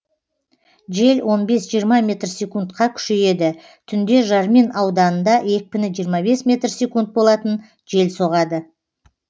жел он жиырма метр секундқа күшейеді түнде жармин ауданында екпіні жиырма бес метр секунд болатын жел соғады